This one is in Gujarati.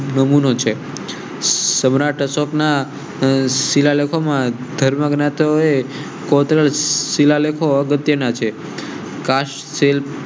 નમૂ નો છે. સમ્રાટ અશોક ના શિલાલેખ માં ધર્મના તેઓએ કોતરા શિલાલેખો અગત્ય ના છે.